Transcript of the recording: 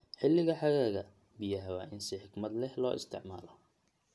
Xilliga xagaaga, biyaha waa in si xikmad leh loo isticmaalo.